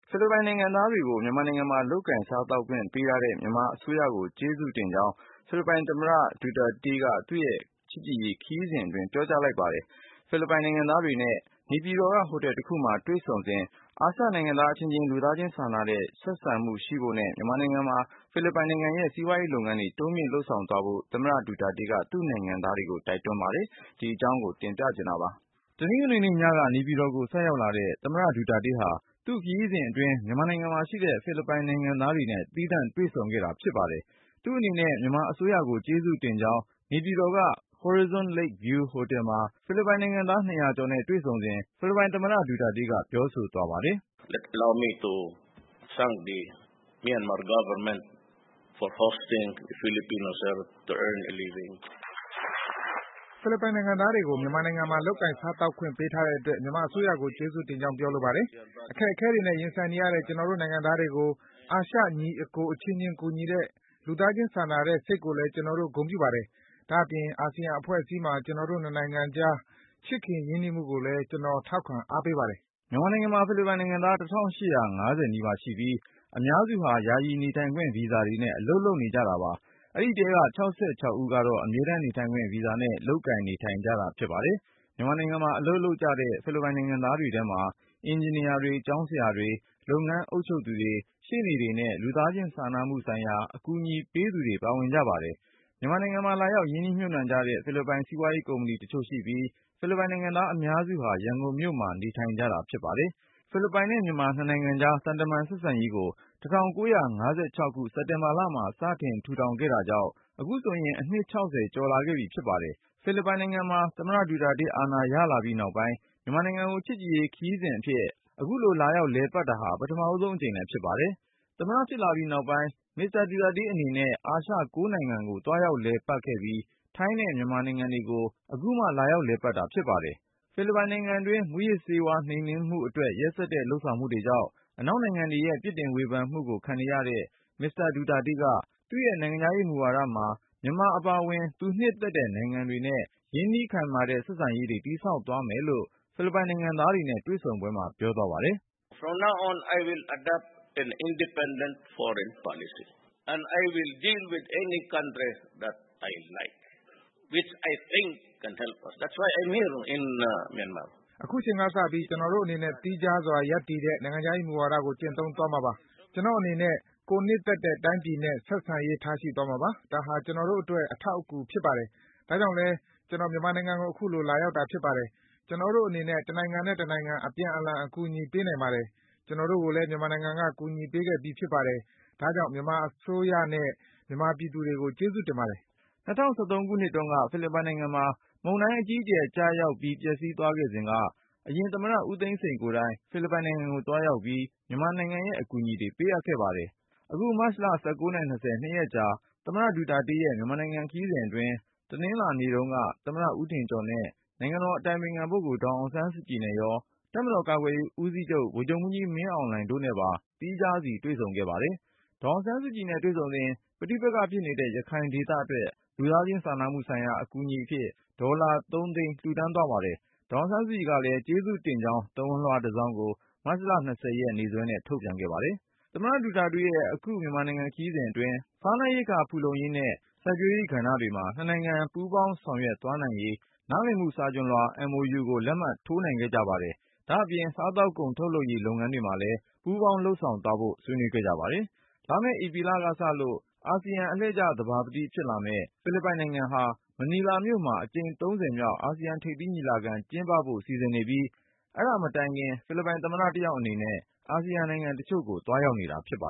ဖိလစ်ပိုင်နိုင်ငံသားတွေကို မြန်မာနိုင်ငံမှာ လုပ်ကိုင်စားသောက်ခွင့်ပေးထားတဲ့ မြန်မာအစိုးရကို ကျေးဇူးတင်ကြောင်း ဖိလစ်ပိုင်သမ္မတ Rodrigo Duterte က သူ့ရဲ့ချစ်ကြည်ရေးခရီးစဉ်အတွင်း ပြောကြားလိုက်ပါတယ်။ ဖိလစ်ပိုင်နိုင်ငံသားတွေနဲ့ နေပြည်တော်က ဟိုတယ်တခုမှာ တွေ့ဆုံစဉ် အာရှနိုင်သားအချင်းချင်း လူသားချင်းစာနာတဲ့ ဆက်ဆံမှုရှိဖို့နဲ့ မြန်မာနိုင်ငံမှာ ဖိလစ်ပိုင်နိုင်ငံရဲ့ စီးပွားရေးလုပ်ငန်းတွေ တိုးမြှင့်လုပ် ဆောင်သွားဖို့ သမ္မတ Duterte က သူ့နိုင်ငံသားတွေကို တိုက်တွန်းသွားပါတယ်။ ဒီအကြောင်းကို ကိုဉာဏ်ဝင်းအောင်က စုစည်းတင်ပြ ထားပါတယ်။ တနင်္ဂနွေနေ့ညက နေပြည်တော်ကို ဆိုက်ရောက်လာတဲ့ သမ္မတ ဒူတာတေးဟာ သူ့ခရီးစဉ်အတွင်း မြန်မာနိုင်ငံမှာရှိတဲ့ ဖိလစ်ပိုင်နိုင်ငံသား တွေနဲ့ သီးသန့်တွေ့ဆုံခဲ့တာပါ။ သူ့အနေနဲ့ မြန်မာအစိုးရကို ကျေးဇူးတင်ကြောင်း နေပြည်တော်က Horizon Lake View ဟိုတယ်မှာ ဖိလစ်ပိုင် နိုင်ငံသား ၂၀၀ ကျော်နဲ့တွေ့ဆုံစဉ် ဖိလစ်ပိုင်သမ္မတ ဒူတာတေးက ပြောဆိုသွားပါတယ်။ “ဖိလစ်ပိုင်နိုင်ငံသားတွေကို မြန်မာနိုင်ငံမှာ လုပ်ကိုင် စားသောက်ခွင့်ပေးထားတဲ့အတွက် မြန်မာအစိုးရကိုကျေးဇူးတင်ကြောင်း ပြော လိုပါတယ်။ အခက်အခဲတွေနဲ့ ရင်ဆိုင်နေရတဲ့ ကျနော်တို့ နိုင်ငံသားတွေကို အာရှညီအစ်ကို အချင်းချင်းကူညီတဲ့ လူသားချင်းစာနာတဲ့ စိတ်ကိုလည်း ကျနော်တို့ ဂုဏ်ပြုပါတယ်။ ဒါ့အပြင် အာဆီယံအဖွဲ့အစည်းမှာ ကျနော်တို့ နှစ်နိုင်ငံကြား ချစ်ခင်ရင်းနှီးမှုကိုလည်း ကျနော် ထောက်ခံအားပေးပါတယ် ” မြန်မာနိုင်ငံမှာ ဖိလစ်ပိုင်နိုင်ငံသား ၁၈၅၀ နီးပါးရှိပြီး အများစုဟာ ယာယီနေထိုင်ခွင့် ဗီဇာတွေနဲ့ အလုပ်လုပ်နေကြတာပါ။ အဲဒီထဲက ၆၆ ဦး ကတော့ အမြဲတမ်းနေထိုင်ခွင့် ဗီဇာနဲ့ လုပ်ကိုင်နေထိုင် ကြတာဖြစ်ပါတယ်။ မြန်မာနိုင်ငံမှာ အလုပ်လုပ်နေကြတဲ့ ဖိလစ်ပိုင်နိုင်ငံသားတွေထဲမှာ အင်ဂျင်နီယာတွေ၊ ကျောင်းဆရာတွေ၊ လုပ်ငန်းအုပ်ချုပ်သူတွေ၊ ရှေ့နေတွေနဲ့ လူသားချင်းစာနာမှုဆိုင်ရာ အကူအညီပေးသူတွေ ပါဝင်ကြ ပါတယ်။ မြန်မာနိုင်ငံမှာ လာရောက်ရင်းနှီးမြှုပ်နှံတဲ့ ဖိလစ်ပိုင် စီးပွားရေးကုမ္ပဏီတချို့ရှိပြီး ဖိလစ်ပိုင်နိုင်ငံသား အများစုဟာ ရန်ကုန်မြို့မှာ နေထိုင် အလုပ်လုပ်ကြတာပါ။ ဖိလစ်ပိုင်နဲ့မြန်မာ နှစ်နိုင်ငံကြား သံတမန် ဆက်ဆံရေးကို ၁၉၅၆ ခုနှစ် စက်တင်ဘာလမှာ စတင်ထူထောင်ခဲ့တာကြောင့် အခုဆိုရင် အနှစ် ၆၀ ကျော်လာခဲ့ပြီဖြစ်ပါတယ်။ ဖိလစ်ပိုင်နိုင်ငံမှာ သမ္မတဒူတာတေး အာဏာရလာပြီးနောက်ပိုင်း မြန်မာနိုင်ငံကို ချစ်ကြည်ရေးခရီးစဉ်အဖြစ် အခုလို လာရောက် လည်ပတ်တာဟာ ပထမဆုံးအကြိမ်လည်း ဖြစ်ပါတယ်။ သမ္မတဖြစ်လာပြီးနောက်ပိုင်း မစ္စတာ ဒူတာတေးအနေနဲ့ အာရှ ၉ နိုင်ငံကို သွားရောက်လည်ပတ်ခဲ့ပြီး ထိုင်းနဲ့ မြန်မာနိုင်ငံတွေကို အခုမှ လာရောက်လည်ပတ်တာ ဖြစ်ပါတယ်။ ဖိလစ်ပိုင်နိုင်ငံတွင်း မူးယစ်ဆေးနှိမ်နင်းမှု အတွက် ရက်စက်တဲ့လုပ်ဆောင်မှုတွေကြောင့် အနောက်နိုင်ငံတွေရဲ့ ပစ်တင်ဝေဖန်မှုကို ခံခဲ့ရတဲ့ မစ္စတာဒူတာတေးက သူ့ရဲ့ နိုင်ငံခြားရေး ဝါဒမှာ မြန်မာအပါအဝင် သူနှစ်သက်တဲ့နိုင်ငံနဲ့ ရင်းနှီးခိုင်မာတဲ့ ဆက်ဆံရေးတွေ တည်ဆောက်သွားမယ်လို့လည်း ဖိလစ်ပိုင်နိုင်ငံသားတွေနဲ့ တွေ့ဆုံပွဲမှာ ပြောသွားပါတယ်။ “ အခုချိန်ကစပြီး ကျနော်တို့အနေနဲ့ သီးခြားစွာ ရပ်တည်တဲ့ နိုင်ငံခြားရေးမူဝါဒကို ကျင့်သုံးသွားမှာပါ။ ကျနော့်အနေနဲ့ ကိုယ်နှစ်သက်တဲ့ တိုင်းပြည်နဲ့ ဆက်ဆံရေး ထားရှိသွားမှာပါ။ ဒါဟာ ကျနော်တို့အတွက် အထောက်အကူဖြစ်ပါတယ်။ ဒါကြောင့်လည်း ကျနော် မြန်မာနိုင်ငံကို အခုလို လာရောက်တာ ဖြစ်ပါတယ်။ ကျနော်တို့အနေနဲ့ တနိုင်ငံနဲ့ တနိုင်ငံ အပြန်အလှန် အကူအညီပေးနိုင်ပါတယ်။ ကျနော်တို့ကိုလည်း မြန်မာနိုင်ငံက အကူအညီပေးခဲ့ပြီး ဖြစ်ပါတယ်။ ဒါကြောင့် မြန်မာအစိုးနဲ့ မြန်မာပြည်သူတွေကို ကျေးဇူးပါတယ်။” ၂၀၁၃ ခုနှစ်တုန်းက ဖိလစ်ပိုင်နိုင်ငံမှာ မုန်တိုင်းအကြီးအကျယ်ကျရောက် ပျက်စီးခဲ့စဉ်က အရင်သမ္မတ ဦးသိန်းစိန်ကိုယ်တိုင် ဖိလစ်ပိုင်ကို သွားရောက်ပြီး မြန်မာရဲ့အကူအညီတွေ ပေးအပ်ခဲ့ပါတယ်။ အခုမတ်လ ၁၉ နဲ့ ၂၀ နှစ်ရက်ကြာ သမ္မတဒူတာတေးရဲ့ မြန်မာပြည်ခရီးစဉ် အတွင်း တနင်္လာနေ့မှာ သမ္မတဦးထင်ကျော်၊ နိုင်ငံတော် အတိုင်ပင်ခံပုဂ္ဂိုလ် ဒေါ်အောင်ဆန်းစုကြည်နဲ့ရော တပ်မတော်ကာကွယ်ရေးဦးစီးချုပ် ဗိုလ်ချုပ်မှူးကြီး မင်းအောင်လှိုင်နဲ့ပါ သီးခြားစီ တွေ့ဆုံခဲ့ပါတယ်။ ဒေါ်အောင်ဆန်းစုကြည်နဲ့ တွေ့ဆုံစဉ် ပဋိပက္ခဖြစ်နေတဲ့ ရခိုင်ဒေသအတွက် လူသားချင်း စာနာမှုဆိုင်ရာ အကူအညီအဖြစ် ဒေါ်လာ ၃ သိန်း လှူဒါန်းသွားပါတယ်။ ဒေါ်အောင်ဆန်းစုကြည်ကလည်း ကျေးဇူးတင်ကြောင်း သဝဏ်လွှာတစောင်ကို မတ်လ ၂၀ ရက် နေ့စွဲနဲ့ ထုတ်ပြန်ခဲ့ ပါတယ်။ သမ္မတဒူတာတေးရဲ့ မြန်မာပြည် ခရီးစဉ်အတွင်း စားနပ်ရိက္ခာဖူလုံရေးနဲ့ စိုက်ပျိုးရေးကဏ္ဍတွေမှာ နှစ်နိုင်ငံ ပူးပေါင်းဆောင်ရွက် သွားနိုင်ရေး နားလည်မှု စာချွန်လွှာ MOU ကိုလက်မှတ်ရေးထိုးနိုင်ခဲ့ပါတယ်။ ဒါ့အပြင် စားသောက်ကုန် ထုတ်လုပ်ရေး လုပ်ငန်းတွေမှာလည်း ပူးပေါင်း လုပ်ဆောင် သွားဖို့ကိုလည်း ဆွေးနွေးခဲ့ကြပါတယ်။ လာမယ့် ဧပြီလကစလို့ အာဆီယံ အလှည့်ကျသဘာပတိဖြစ်လာမယ့် ဖိလစ်ပိုင်နိုင်ငံဟာ မနီလာမြို့မှာ အကြိမ် ၃၀ မြောက် အာဆီယံထိပ်သီး ညီလာခံ ကျင်းပဖို့ စီစဉ်နေပြီး အဲဒါမတိုင်ခင် ဖိလစ်ပိုင်သမ္မတ တယောက်အနေနဲ့ အာဆီယံ နိုင်ငံတချို့ကို သွားရောက်နေတာ ဖြစ်ပါ